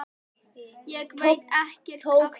Ég veit ekkert af hverju.